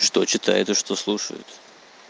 что читаю то что слушают